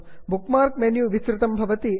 book mark menu विस्तृतं भवति